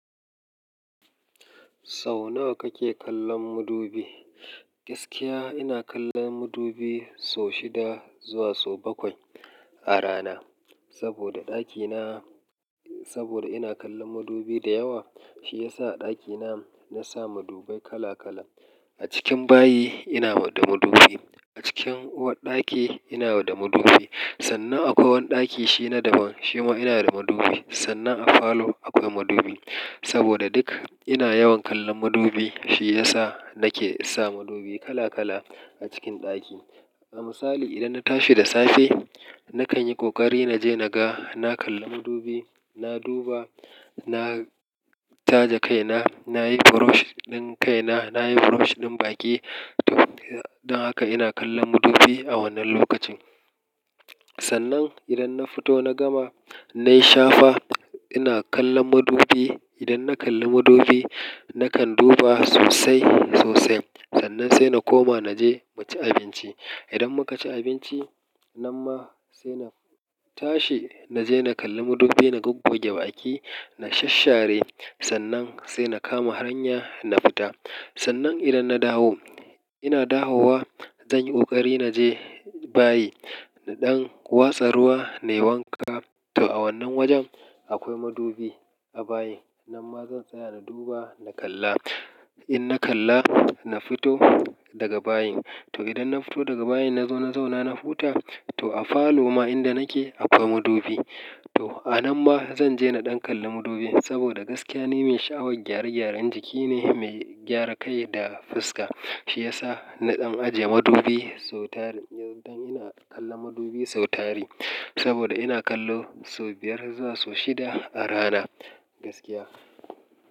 Sau nawa kake kallon mudubi? Gaskiya ina kallon mudubi sau shida zuwa sau bakwai a rana. Saboda ɗakina, saboda ina kallon mudubi da yawa, shi yasa a ɗakina na sa mudubai kala kala. A cikin bayi ina da mudubi, a cikin uwarɗaki ina da mudubi. Sannan akwai wani ɗaki shi na daban, shi ma ina da mudubi. Sannan a falo akwai mudubi. Saboda duk ina yawan kallon mudubi shi yasa nake sa mudubi kala kala a cikin ɗaki. A misali idan na tashi da safe, na kan yi ƙoƙari na je na ga, na kalli mudubi, na duba, na taje kaina, nayi brush ɗin kaina, nayi brush ɗin baƙi. To, don haka ina kallon mudubi a wannan lokacin. Sannan idan na fito na gama, nayi shafa, ina kallon mudubi. Idan na kalli mudubi, nakan duba sosai, sosai. Sannan sai na koma na je mu ci abinci. Idan muka ci abinci, nan ma sai na tashi na je na kalli mudubi. Na gogge baki, na shasshare, sannan sai na kama hanya na fita. Sannan idan na dawo, ina dawowa, zan yi ƙoƙari na je bayi. Na ɗan watsa ruwa, na yi wanka. To a wannan wajen akwai mudubi a bayi. Nan ma zan tsaya na duba, na kalla. In na kalla, na fito daga bayin. To idan na fito daga bayin na zo na zauna, na huta. To a falo ma inda nake akwai mudubi. To a nan ma zan je na ɗan kalli mudubi saboda gaskiya ni mai sha'awar gyare-gyaren jiki ne, mai gyara kai da fuska. Shi yasa na ɗan ajiye mudubi sau tari, don ina kallon mudubi sau tari. Saboda ina kallo sau biyar zuwa sau shida a rana gaskiya.